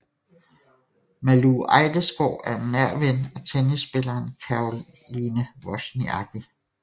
Malou Ejdesgaard er en nær ven af tennisspilleren Caroline Wozniacki